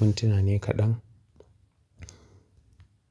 mintuna ne kaɗan.